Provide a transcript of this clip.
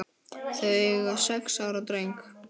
Þau eiga sex ára dreng